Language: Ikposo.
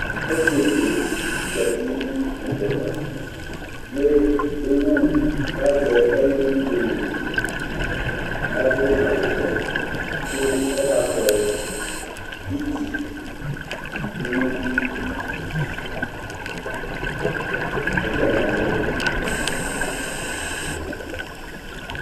osietsue zatu nu kpoku ava lazɛ ɛlu yowu ladu awu ɔwɛ ku ɔkakpɔ iti dunu ɛtsanaeɔko yɛli